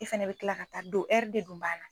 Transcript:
E fɛnɛ be kila ka taa don ɛri de dun b'a la